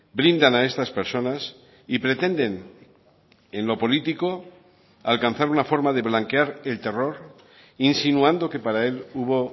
brindan a estas personas y pretenden en lo político alcanzar una forma de blanquear el terror insinuando que para él hubo